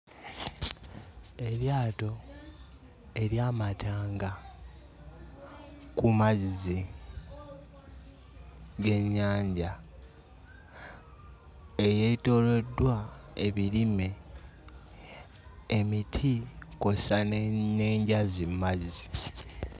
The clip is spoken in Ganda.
Eryato ery'amatanga ku mazzi g'ennyanja eyeetooloddwa ebirime, emiti kw'ossa n'enjazi mmazzi.